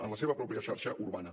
en la seva pròpia xarxa urbana